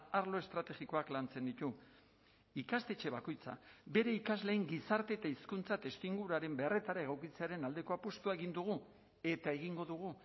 arlo estrategikoak lantzen ditu ikastetxe bakoitza bere ikasleen gizarte eta hizkuntza testuinguruaren beharretara egokitzearen aldeko apustua egin dugu eta egingo dugu